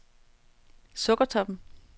Sukkertoppen